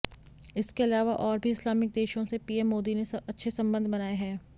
इसके अलावा और भी इस्लामिक देशों से पीएम मोदी ने अच्छे संबंध बनाए हैं